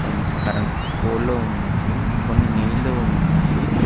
కొన్ని స్కరెంట్ పోళ్ళు ఉన్నాయి కొన్ని నీళ్లు ఉన్నాయి.